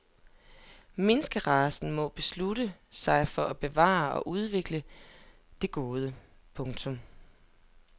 Menneskeracen må beslutte sig for at bevare og udvikle det gode. punktum